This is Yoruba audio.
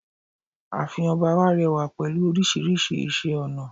ààfin ọba wá rẹwà pẹ̀lú orísirísi iṣẹ ọnà